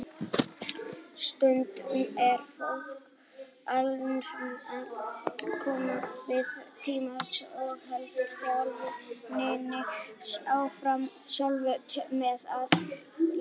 Stundum fer fólk einungis í nokkra viðtalstíma og heldur þjálfuninni áfram sjálft með aðstoð leiðbeininga.